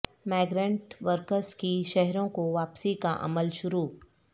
migrant workers کی شہروں کو واپسی کا عمل شروع